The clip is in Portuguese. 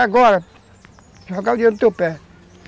É agora, jogar o dinheiro no teu pé.